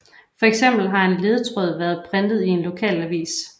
For eksempel har en ledetråd været printet i en lokalavis